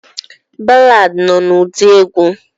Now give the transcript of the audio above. Balaadi nọ n'ụdị egwu.